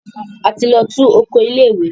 A ti lọ tú oko ilé ìwé.